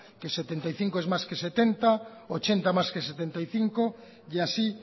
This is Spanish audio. que setenta y cinco es más que setenta ochenta más que setenta y cinco y así